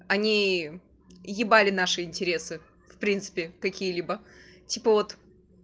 они ебали наши интересы в принципе какие-либо типа вот